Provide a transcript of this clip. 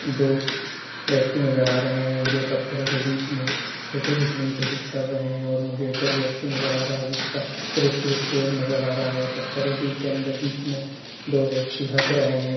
दो व्यक्ति नज़र आ रहे है जो पत्थरो के बीच में फोटो खींचने की कोशिश कर रहे है और मुझे एक और व्यक्ति नज़र आ रहा हैजिसका सिर्फ एक पेर नज़र आ रहा है पत्थरे भी के अंदर बीच में दो व्यक्ति हँस रहे है।